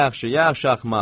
Yaxşı, yaxşı axmaq.